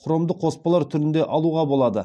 хромды қоспалар түрінде алуға болады